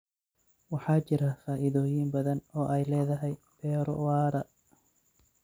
Waxaa jira faa'iidooyin badan oo ay leedahay beero waara.